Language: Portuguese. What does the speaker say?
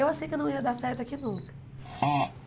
Eu achei que eu não ia dar certo aqui nunca.